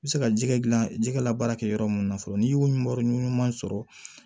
I bɛ se ka jɛgɛ dilan jɛgɛ labaara kɛ yɔrɔ minnu na fɔlɔ n'i y'o yɔrɔ ɲuman sɔrɔ